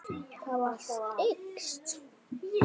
Allt eykst.